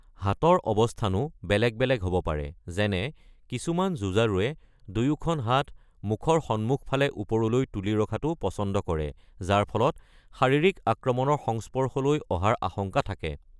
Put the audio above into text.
হাতৰ অৱস্থানো বেলেগ বেলেগ হ’ব পাৰে, যেনে কিছুমান যুঁজাৰুৱে দুয়োখন হাত মুখৰ সন্মুখ ফালে ওপৰলৈ তুলি ৰখাটো পছন্দ কৰে, যাৰ ফলত শাৰীৰিক আক্ৰমণৰ সংস্পৰ্শলৈ অহাৰ আশংকা থাকে।